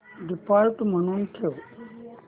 default म्हणून ठेव